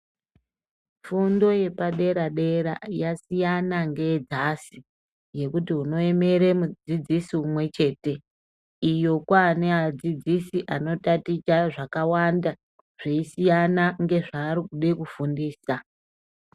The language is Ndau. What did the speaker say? Fundo yepadera-dera , yasiyana ngeyedzasi, yekuti unoemere mudzidzisi umwe chete. Iyo kwaane adzidzisi anotaticha zvakawanda, zveisiyana ngezvaari kude kufundisa.